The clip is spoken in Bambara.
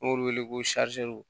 N b'olu wele ko